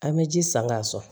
An bɛ ji san k'a sɔn